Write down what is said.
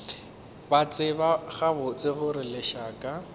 ba tseba gabotse gore lešaka